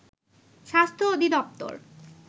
স্বাস্থ্য অধিদপ্তর